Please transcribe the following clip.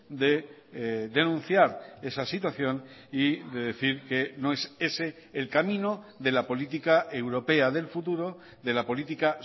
de denunciar esa situación y de decir que no es ese el camino de la política europea del futuro de la política